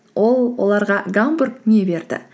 ол оларға гамбург не берді